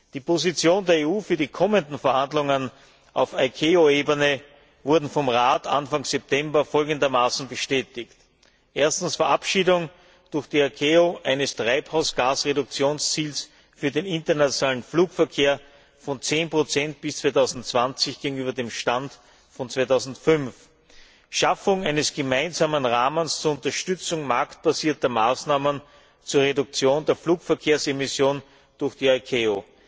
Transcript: Die Position der EU für die kommenden Verhandlungen auf ICAO Ebene wurde vom Rat Anfang September folgendermaßen bestätigt Verabschiedung durch die ICAO eines Treibhausgas Reduktionsziels für den internationalen Flugverkehr von 10 bis 2020 gegenüber dem Stand von 2005 und Schaffung eines gemeinsamen Rahmens zur Unterstützung marktbasierter Maßnahmen zur Reduktion der Flugverkehrsemissionen durch die ICAO.